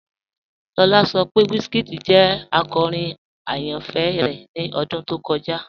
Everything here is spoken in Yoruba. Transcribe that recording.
Lọlá sọ pé WizKid jẹ akọ́rin ayánfẹ́ rẹ ni ọdún tó kọja.